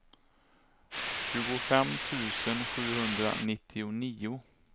tjugofem tusen sjuhundranittionio